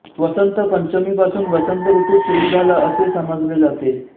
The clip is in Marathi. वसंत पंचमीपासून वसंत ऋतू सुरू झाला असे समजले जाते